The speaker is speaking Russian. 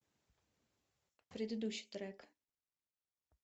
предыдущий трек